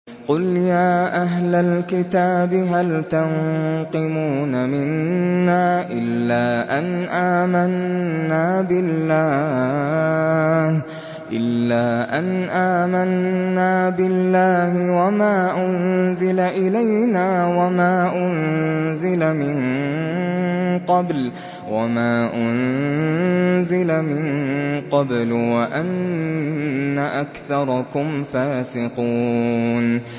قُلْ يَا أَهْلَ الْكِتَابِ هَلْ تَنقِمُونَ مِنَّا إِلَّا أَنْ آمَنَّا بِاللَّهِ وَمَا أُنزِلَ إِلَيْنَا وَمَا أُنزِلَ مِن قَبْلُ وَأَنَّ أَكْثَرَكُمْ فَاسِقُونَ